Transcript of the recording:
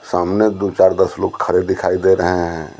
सामने दो चार दस लोग खड़े दिखाई दे रहे हैं।